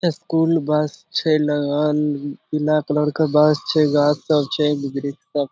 school bus छै पीला colour के बस छै गाँछ सब छै वृक्ष सब --